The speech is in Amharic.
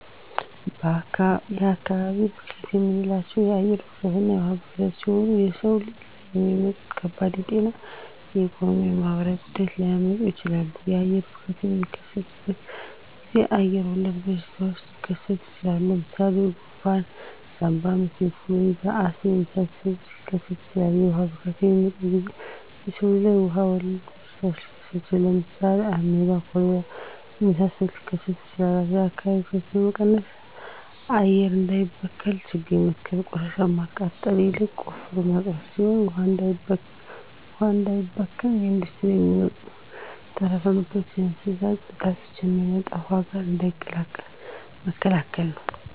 የአካባቢ ብክለት የምንላቸው የአየር ብክለትና የውሀ ብክለት ሲሆኑ በሰው ልጅ ላይ የሚያመጡት ከባድ የጤና የኢኮኖሚ የማህበራዊ ጉዳት ሊያመጡ ይችላሉ። የአየር ብክለት በሚከሰትበት ጊዜ አየር ወለድ በሽታዎች ሊከሰቱ ይችላል። ለምሳሌ ጉንፍን ሳምባምች ኢንፍሉዌንዛ አስም የመሳሰሉትን ሊከሰቱ ይችላሉ። የውሀ ብክለት በሚከሰትበት ጊዜ በሰው ልጅ ላይ ውሀ ወለድ በሽታዎች ሊከሰቱ ይችላሉ። ለምሳሌ አሜባ ኮሌራ የመሳሰሉት ሊከሰቱ ይችላሉ። የአካባቢ ብክለት ለመቀነስ አየር እንዳይበከል ችግኝ መትከል ቆሻሻን ከማቃጠል ይልቅ ቆፍሮ መቅበር ሲሆን ውሀ እንዳይበከል ከኢንዱስትሪ የሚወጡ ተረፈ ምርቶችና የእንስሳት ፅዳጅን ከሚጠጣ ውሀ ጋር እንዳይቀላቀሉ መከላከል ናቸው።